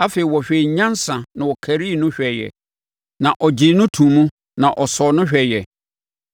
afei ɔhwɛɛ nyansa na ɔkarii no hwɛeɛ; na ɔgyee no too mu na ɔsɔɔ no hwɛeɛ.